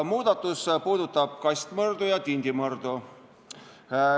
Muudatus puudutab kastmõrdu ja tindimõrdu.